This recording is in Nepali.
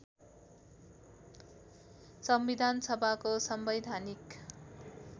संविधान सभाको संवैधानिक